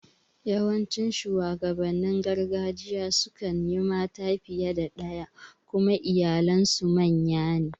Yawancin shuwagabannin gargajiya sukan yi mata fiye da ɗaya kuma iyalen su manya ne